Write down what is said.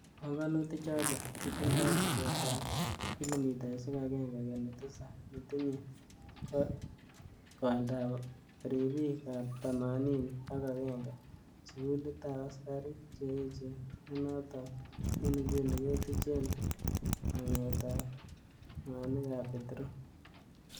Pongonutik choton kotindoi tesetab ab kilomitaisiek agenge kenuch tisap, netinye koindab ribik ab thamanini ak agenge, Sugulitab askarik che echen nenoton en inguni ketuchen mangetab mwanikab petrol.